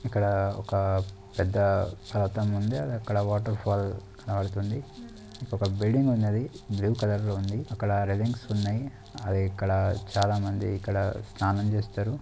ఇక్కడా ఒక పెద్ద సాత్రం ఉంది అది అక్కడ వాటర్ ఫాల్ కనబడుతుంది ఇక్కడొక బిల్డింగ్ ఉన్నది బ్లూ కలర్ లొ ఉంద అక్కడ లారేరింగ్స్ ఉన్నాయ్ అది ఇక్కడ చాలా మంది స్నానం చేస్తారు.